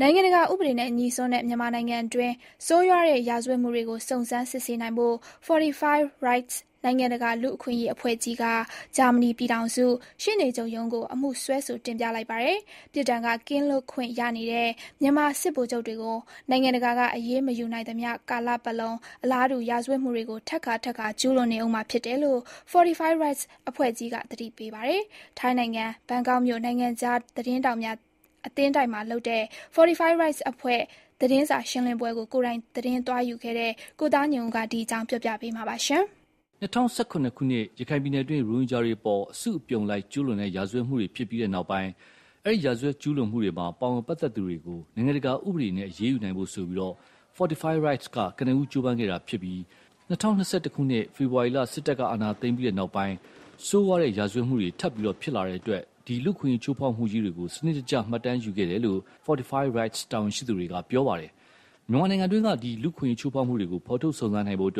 နိုင်ငံတကာဥပဒေနဲ့ငြိစွန်းတဲ့ မြန်မာနိုင်ငံတွင်း ဆိုးရွားတဲ့ရာဇဝတ်မှုတွေကို စုံစမ်းစစ်ဆေးနိုင်ဖို့ Fortify Rights နိုင်ငံတကာလူ့အခွင့်အရေးအဖွဲ့ကြီးက ဂျာမနီပြည်ထောင်စုရှေ့နေချုပ်ရုံးကို အမှုစွဲဆိုတင်ပြလိုက်ပါတယ်။ ပြစ်ဒဏ်က ကင်းလွတ်ခွင့်ရနေတဲ့ မြန်မာစစ်ဗိုလ်ချုပ်တွေကို၊ နိုင်ငံတကာက အရေးမယူနိုင်သမျှကာလပတ်လုံး အလားတူရာဇဝတ်မှုတွေကို ထပ်ခါထပ်ခါကျူးလွန်နေဦးမှာဖြစ်တယ်လို့ Fortify Rights အဖွဲ့ကြီးက သတိပေးပါတယ်။ ထိုင်းနိုင်ငံ ဘန်ကောက်မြို့ နိုင်ငံခြားသတင်းထောက်များအသင်းတိုက်မှာလုပ်တဲ့ Fortify Rights အဖွဲ့ သတင်းစာရှင်းလင်းပွဲကို ကိုယ်တိုင်သတင်းသွားယူခဲ့တဲ့ ကိုသားညွန့်ဦးက ဒီအကြောင်း ပြောပြမှာပါ။ ၂၀၁၇ ခုနှစ်အတွင်း ရခိုင်ပြည်နယ်တွင်း ရိုဟင်ဂျာတွေအပေါ် အစုအပြုံလိုက်ကျူးလွန်တဲ့ ရာဇဝတ်မှုတွေဖြစ်ပြီးတဲ့နောက်ပိုင်း၊ ဒီရာဇဝတ်မှုကျူးလွန်မှုမှာ ပါဝင်ပတ်သက်သူတွေကို နိုင်ငံတကာဥပဒေအရ အရေးယူနိုင်ဖို့ Fortify Rights က ကနဦး ကြိုးပမ်းခဲ့တာဖြစ်ပြီး၊ ၂၀၂၁ ခုနှစ် ဖေဖော်ဝါရီ စစ်တပ်က အာဏာသိမ်းပြီးနောက်ပိုင်း ဆိုးဝါးတဲ့ရာဇဝတ်မှုတွေ ထပ်ဖြစ်လာတဲ့အတွက် ဒီလူ့အခွင့်အရေးချိုးဖောက်မှုကြီးတွေကို စံနစ်တကျ မှတ်တမ်းယူခဲ့တယ်လို့ Fortify Rights တာဝန်ရှိသူတွေက ပြောပါတယ်။ မြန်မာနိုင်ငံတွင်း လူ့အခွင့်အရေးချိုးဖောက်မှုတွေကို ဖော်ထုတ်စုံစမ်းနိုင်ဖို့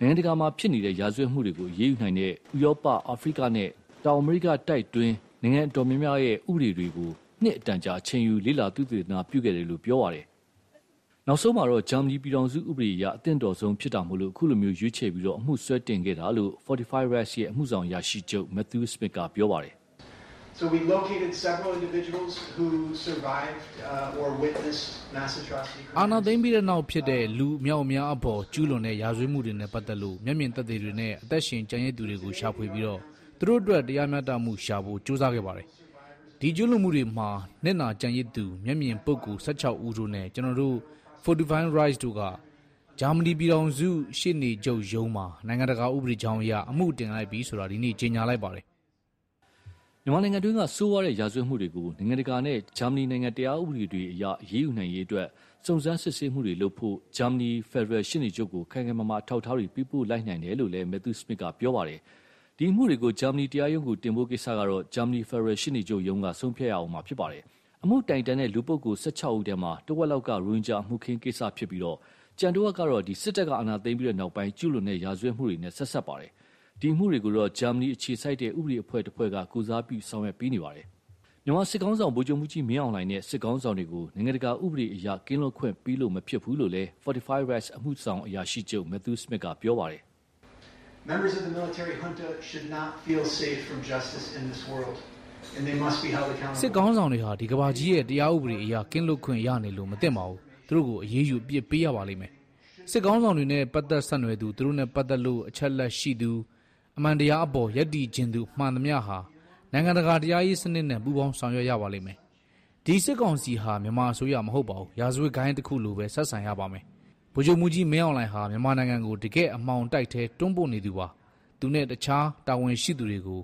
နိုင်ငံတကာမှာဖြစ်နေတဲ့ ရာဇဝတ်မှုတွေကို အရေးယူနိုင်တဲ့ ဥရောပ၊ အာဖရိကနဲ့ တောင်အမေရိကတိုက်တွင်း နိုင်ငံအတော်များများရဲ့ ဥပဒေတွေကို နှစ်အတန်ကြာ အချိန်ယူ လေ့လာသုတေသနပြုခဲ့တယ်လို့ ပြောပါတယ်။ နောက်ဆုံးမှာတော့ ဂျာမနီပြည်ထောင်စုဥပဒေအရ အသင့်တော်ဆုံးဖြစ်တာမို့ အခုလို ရွေးချယ်ပြီး၊ အမှုစွဲတင်ခဲ့တာလို့ Fortify Rights ရဲ့ အမှုဆောင်အရာရှိချုပ် Matthew Smith က ပြောပါတယ်။ "အာဏာသိမ်းပြီးတဲ့နောက်ဖြစ်တဲ့ လူအမြောက်အများအပေါ်ကျူးလွန်တဲ့ရာဇဝတ်မှုတွေနဲ့ပတ်သက်လို့ မျက်မြင်သက်သေတွေနဲ့ အသက်ရှင်ကျန်ရစ်သူတွေကို ရှာဖွေပြီး၊ သူတို့အတွက် တရားမျှတမှုရှာဖို့ ကြိုးစားခဲ့ပါတယ်။ ဒီကျူးလွန်မှုတွေမှာ နစ်နာကျန်ရစ်သူ၊ မျက်မြင်ပုဂ္ဂိုလ် ၁၆ ဦးတို့နဲ့ ကျနော်တို့ Fortify Rights တို့ဟာ ဂျာမနီပြည်ထောင်စု ရှေနေချုပ်ရုံးမှာ နိုင်ငံတကာဥပဒေကြောင်းအရ အမှုတင်လိုက်ပြီဆိုတာ ဒီနေ့ ကြေညာလိုက်ပါတယ်။" မြန်မာနိုင်ငံတွင်းကဆိုးရွားတဲ့ရာဇဝတ်မှုတွေကို နိုင်ငံတကာနဲ့ဂျာမနီတရားဥပဒေတွေအရ အရေးယူနိုင်ရေးအတွက် စုံစမ်းစစ်ဆေးမှုတွေလုပ်ဖို့ ဂျာမနီဖယ်ဒရယ်ရှေနေချုပ်ကို ခိုင်ခိုင်မာမာအထောက်အထားတွေ ပေးပို့လိုက်နိုင်တယ်လို့လည်း Matthew Smith ကပြောပါတယ်။ ဒီအမှုတွေကို ဂျာမနီတရားရုံးကို တင်ဖို့ကိစ္စကတော့ ဂျာမနီဖယ်ဒရယ်ရှေ့နေချုပ်ရုံးက ဆုံးဖြတ်ရဦးမှာဖြစ်ပါတယ်။ အမှုတိုင်တန်းတဲ့ လူပုဂ္ဂိုလ် ၁၆ ဦးထဲမှာ တဝက်လောက်က ရိုဟင်ဂျာအမှုအခင်းကိစ္စဖြစ်ပြီး၊ ကျန်တဝက်ကတော့ စစ်တပ်အာဏာသိမ်းပြီးနောက် ကျူးလွန်တဲ့ရာဇဝတ်မှုတွေနဲ့ ဆက်စပ်ပါတယ်။ ဒီအမှုတွေကိုတော့ ဂျာမဏီအခြေစိုက် ဥပဒေအဖွဲ့တဖွဲ့က ကိုယ်စားပြုဆောင်ရွက်ပေးနေပါတယ်။ မြန်မာစစ်ခေါင်းဆောင် ဗိုလ်ချုပ်မှူးကြီးမင်းအောင်လှိုင်နဲ့ စစ်ခေါင်းဆောင်တွေကို နိုင်ငံတကာဥပဒေအရ ကင်းလွတ်ခွင့်ပေးလို့မဖြစ်ဘူးလို့လည်း Fortify Rights အမှုဆောင်အရာရှိချုပ် Matthew Smith က ပြောပါတယ်။ " စစ်ခေါင်းဆောင်တွေဟာ ဒီကမ္ဘာကြီးရဲ့ တရားဥပဒေအရ ကင်းလွတ်ခွင့်ရနေလို့မသင့်ပါဘူး။ သူတို့ကို အရေးယူအပြစ်ပေးရပါမယ်။ စစ်ခေါင်းဆောင်တွေနဲ့ ပတ်သက်ဆက်နွယ်သူ၊ သူတို့နဲ့ပတ်သက်လို့ အချက်အလက်ရှိသူ၊ အမှန်တရားအပေါ် ရပ်တည်ချင်သူမှန်သမျှဟာ နိုင်ငံတကာတရားရေးစနစ်နဲ့ ပူးပေါင်းဆောင်ရွက်ရပါမယ်။ ဒီစစ်ကောင်စီဟာ မြန်မာအစိုးရမဟုတ်ပါဘူး၊ ရာဇဝတ်ဂိုဏ်းတခုလိုပဲ ဆက်ဆံရပါမယ်။ ဗိုလ်ချုပ်မှူးကြီးမင်းအောင်လှိုင်ဟာ မြန်မာနိုင်ငံကို တကယ့်အမှောင်တိုက်ထဲ တွန်းပို့နေသူပါ။ သူနဲ့ အခြားတာဝန်ရှိသူတွေကို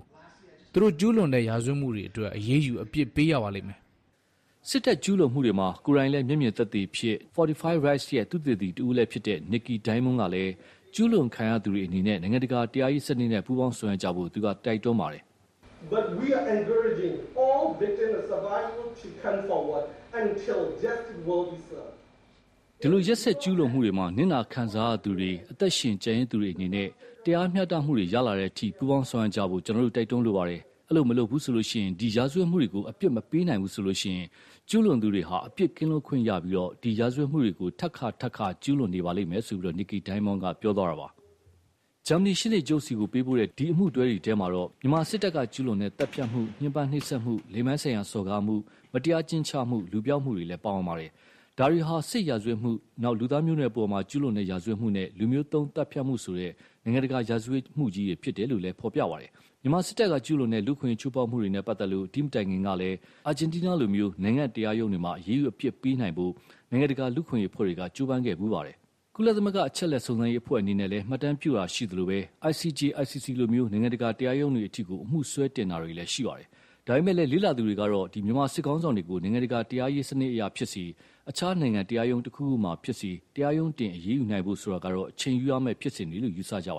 သူတို့ကျူးလွန်တဲ့ရာဇဝတ်မှုတွေအတွက် အရေးယူအပြစ်ပေးရပါမယ်။" စစ်တပ်ကျူးလွန်မှုတွေမှာ ကိုယ်တိုင်လည်း မျက်မြင်သက်သေလည်းဖြစ်၊ Fortify Rights ရဲ့ သုတေသီတဦးဖြစ်သူ နစ်ကီဒိုင်းမွန်းကလည်း ကျူးလွန်ခံရသူတွေအနေနဲ့ နိုင်ငံတကာတရားရေးစနစ်နဲ့ပူးပေါင်းဆောင်ရွက်ကြဖို့ တိုက်တွန်းပါတယ်။ "ဒီလိုရက်စက်ကျူးလွန်မှုတွေမှာ နစ်နာခံစားရသူတွေ အသက်ရှင်ကျန်ရစ်သူတွေအနေနဲ့ တရားမွျှတမှုတွေရလာတဲ့အထိ ပူးပေါင်းဆောင်ရွက်ကြဖို့ ကျနော်တို့ တိုက်တွန်းလိုတယ်။ အဲလို မလုပ်ဘူးဆိုရင် ဒီရာဇဝတ်မှုတွေကို အပြစ်မပေးနိုင်ဘူးဆိုရင် ကျူုးလွန်သူတွေဟာ အပြစ်ကင်းလွတ်ခွင့်ရပြီး ဒီရာဇဝတ်မှုတွေကို ထပ်ခါထပ်ခါ ကျူးလွန်နေပါလိမ့်မယ်။" ဂျာမနီရှေ့နေချုပ်ဆီပေးပိုတဲ့ ဒီအမှုတွဲမှာတော့ မြန်မာစစ်တပ်ကကျူးလွန်တဲ့ သတ်ဖြတ်မှု၊ ညှင်းပမ်းနှိပ်စက်မှု၊ လိင်ပိုင်းဆိုင်ရာစော်ကားမှု၊ မတရား အကျဉ်းချမှု၊ လူပျောက်မှုတွေ ပါဝင်ပါတယ်။ ဒါတွေဟာ စစ်ရာဇဝတ်မှု၊ လူသားမျိုးနွယ်အပေါ် ကျူးလွန်တဲ့ ရာဇဝတ်မှုနဲ့ လူမျိုးသုဉ်းသတ်ဖြတ်မှုဆိုတဲ့ နိုင်ငံတကာရာဇဝတ်မှုကြီးတွေဖြစ်တယ်လို့လည်း ဖော်ပြပါတယ်။ မြန်မာစစ်တပ်က ကျူးလွန်တဲ့ လူ့အခွင့်အရေးချိုးဖောက်မှုတွေနဲ့ပတ်သက်လို့ ဒီမတိုင်ခင်ကလည်း၊ ဂျာမဏီအပြင် အာဂျင်တီးနားလို့ နိုင်ငံတရားရုံးတွေမှာ အရေးယူအပြစ်ပေးနိုင်ဖို့ နိုင်ငံတကာလူ့အခွင့်အရေးအဖွဲ့တွေက ကြိုးပမ်းခဲ့ဖူးပါတယ်။ ကုလသမဂ္ဂ အချက်အလက်စုံစမ်းရေးအဖွဲ့အနေနဲ့လည်း မှတ်တမ်းပြုနေတာရှိသလို၊ ICJ ICC လို နိုင်ငံတကာတရားရုံးတွေအထိ အမှုစွဲတင်ထားတာတွေလည်းရှီပါတယ်။ ဒါပေမယ့် လေ့လာသူတွေကတော့ မြန်မာစစ်ခေါင်းဆောင်တွေကို နိုင်ငံတကာတရားရေးစနစ်အရဖြစ်စေ၊ အခြားနိုင်ငံတရားရုံးတခုခုမှာဖြစ်စေ တရားရုံးတင်အရေးယူနိုင်ဖို့ဆိုတာ အချိန်ယူရမယ့် ဖြစ်စဉ်တွေလို့ ယူဆကြပ